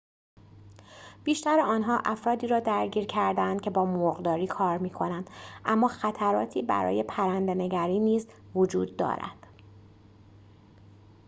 بیشتر آنها افرادی را درگیر کرده‌اند که با مرغداری کار می‌کنند اما خطراتی برای پرنده‌نگری نیز وجود دارد